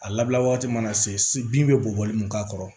A labɔgɔti mana se bin bɛ bɔli mun k'a kɔrɔ